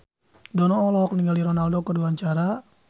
Dono olohok ningali Ronaldo keur diwawancara